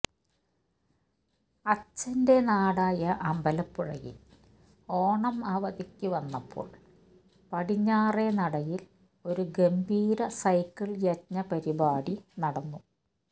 അച്ഛൻ്റെ നാടായ അമ്പലപ്പുഴയിൽ ഓണം അവധിക്കു വന്നപ്പോൾ പടിഞ്ഞാറേ നടയിൽ ഒരു ഗംഭീര സൈക്കിൾ യജ്ഞ പരിപാടി നടന്നു